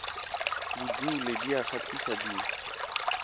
bodule di a kgahliša di